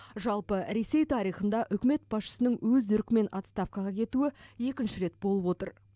жалпы ресей тарихында үкімет басшысының өз еркімен отставкаға кетуі екінші рет болып отыр